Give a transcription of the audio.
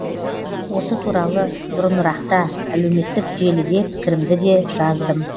осы туралы бұрынырақта әлеуметтік желіде пікірімді де жаздым